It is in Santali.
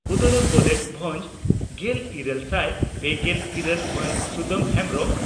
ᱩᱫᱽᱲᱟ ᱠᱚᱞᱮᱡᱽ ᱵᱷᱟᱸᱡᱽ ᱾ᱜᱮᱞ ᱤᱨᱟᱹᱞ ᱥᱟᱭ ᱯᱮᱜᱮᱞ ᱤᱨᱟᱹᱞ ᱢᱟᱱ ᱥᱩᱫᱟᱢ ᱦᱮᱢᱵᱽᱨᱚᱢ